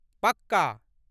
पक्का !